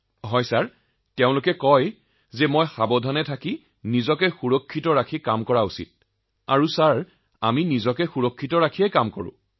মহোদয় তেওঁলোকে কয় দেউতা কাম কৰা কিন্তু নিজৰ সুৰক্ষা বৰ্তাই লৈ কৰা আৰু আমি সুৰক্ষাৰ সৈতে কাম কৰো